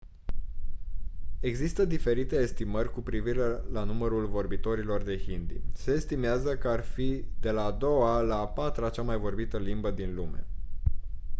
există diferite estimări cu privire la numărul vorbitorilor de hindi se estimează că ar fi de la a doua la a patra cea mai vorbită limbă din lume